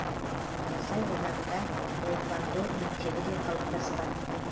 қарасай ауданында таэквондо мектебі де қалыптасқан